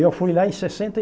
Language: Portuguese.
Eu fui lá em sessenta